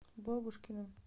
бабушкиным